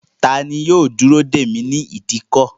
Tani yóò dúró dèmí ni ìdíkọ̀?